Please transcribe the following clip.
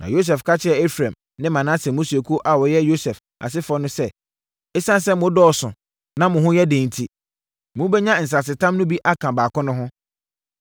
Na Yosua ka kyerɛɛ Efraim ne Manase mmusuakuo a wɔyɛ Yosef asefoɔ no sɛ, “Esiane sɛ mo dɔɔso na mo ho yɛ den enti, mobɛnya nsasetam no bi aka baako no ho.